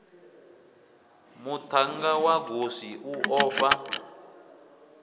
muthannga wa goswi u ofha